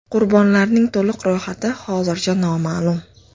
Qurbonlarning to‘liq ro‘yxati hozircha noma’lum.